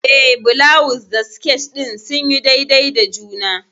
Eh, bulawus da sket din sunyi daidai da juna.